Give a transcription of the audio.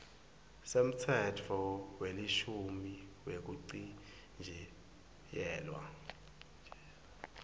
semtsetfo welishumi wekuchitjiyelwa